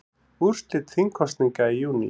Úrslit þingkosninga í júní